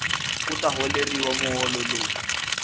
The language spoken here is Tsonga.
u ta holeriwa muholo lowu